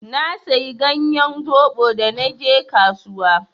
Na sayi ganyen zoɓo da naje kasuwa.